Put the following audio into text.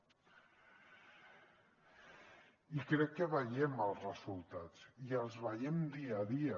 i crec que veiem els resultats i els veiem dia a dia